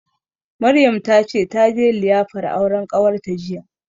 Maryam ta ce taje liyafar auren ƙawarta jiya